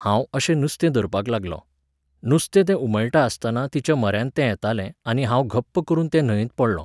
हांव अशें नुस्तें धरपाक लागलों. नुस्तें तें उमळटा आसतना तिच्या म्हऱ्यांत तें येतालें, आनी हांव घप्प करून ते न्हंयेंत पडलों